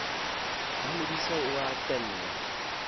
wa modise o a tella